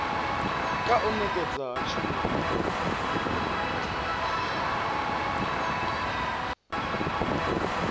kha u nekedzwa ha tshumelo